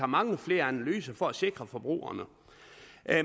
mange flere analyser for at sikre forbrugerne